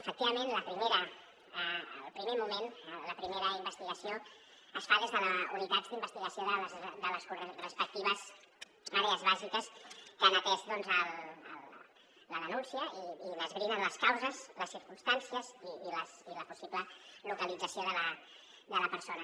efectivament en el primer moment la primera investigació es fa des de la unitat d’investigació de les respectives àrees bàsiques que han atès la denúncia i n’esbrinen les causes les circumstàncies i la possible localització de la de la persona